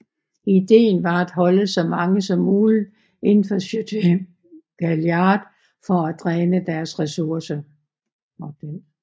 Ideen var at holde så mange som muligt inden for Château Gaillard for at dræne dens ressourcer